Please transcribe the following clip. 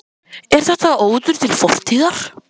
Linda: Er þetta óður til fortíðar?